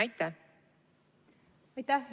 Aitäh!